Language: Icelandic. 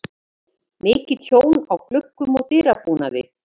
Mikið tjón á gluggum og dyrabúnaði.